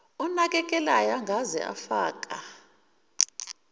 onakelelayo angeze afaka